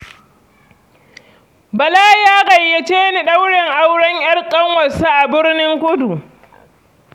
Bala ya gayyace ni ɗaurin auren ‘yar ƙanwarsa a Burnin Kudu.